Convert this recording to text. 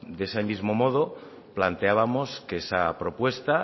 de ese mismo modo planteábamos que esa propuesta